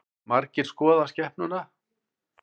Margir skoða skepnuna